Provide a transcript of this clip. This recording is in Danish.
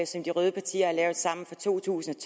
som de røde partier har lavet sammen for to tusind